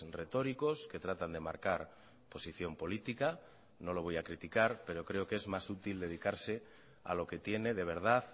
retóricos que tratan de marcar posición política no lo voy a criticar pero creo que es más útil dedicarse a lo que tiene de verdad